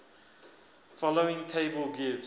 following table gives